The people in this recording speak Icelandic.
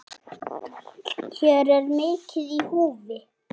Hér er mikið í húfi.